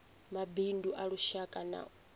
mabindu a lushaka na a